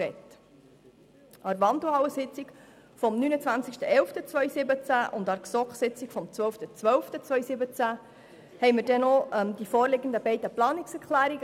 An der Wandelhallensitzung vom 29. 11. 2017 und an der GSoKSitzung vom 12. 12. 2017 behandelten wir dann auch noch die beiden Planungserklärungen.